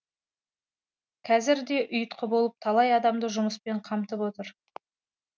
қазір де ұйытқы болып талай адамды жұмыспен қамтып отыр